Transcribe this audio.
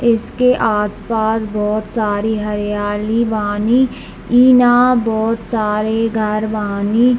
इसके आस-पास बहुत सारी हरियाली बानी इ न बहुत सारे घर बानी।